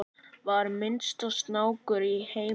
vera minnsti snákur í heimi